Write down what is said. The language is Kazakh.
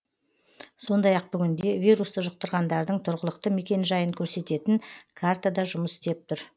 сондай ақ бүгінде вирусты жұқтырғандардың тұрғылықты мекенжайын көрсететін карта да жұмыс істеп тұр